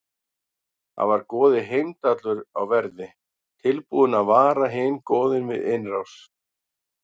Þar var goðið Heimdallur á verði, tilbúinn að vara hin goðin við innrás.